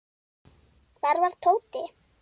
Hvar var Tóti?